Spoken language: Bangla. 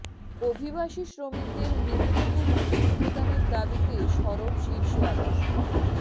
অভিবাসী শ্রমিকদের ন্যূনতম মজুরি প্রদানের দাবিতে সরব শীর্ষ আদালত